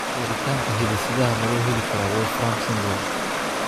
Baaritaanka hidde-sidaha ma loo heli karaa Wolfram syndrome?